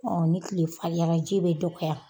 ni tile fariyara ji bɛ dɔgɔya.